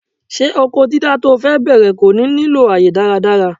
Ṣé oko dídá to fe bẹ̀rẹ̀ kò ní nílò àyè dáradára?